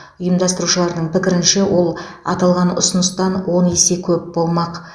ұйымдастырушылардың пікірінше ол аталған ұсыныстан он есе көп болмақ